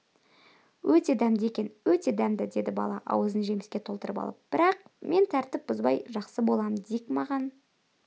өте дәмді екен өте дәмді деді бала аузын жеміске толтырып алып бірақ мен тәртіп бұзбай жақсы болам дик маған